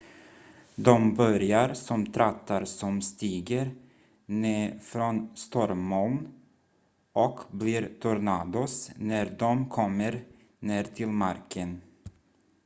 "de börjar som trattar som stiger ned från stormmoln och blir "tornados" när de kommer ner till marken.